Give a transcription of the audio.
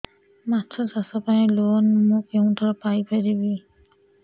ମାଛ ଚାଷ ପାଇଁ ଲୋନ୍ ମୁଁ କେଉଁଠାରୁ ପାଇପାରିବି